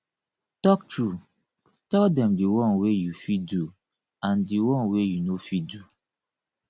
talk true tell dem di won wey you fit do and di one wey you no fit do